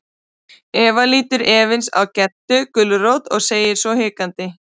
Eva lítur efins á Geddu gulrót og segir svo hikandi.